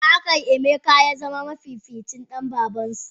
Ya akai Emeka yazama mafificin Dan babansu?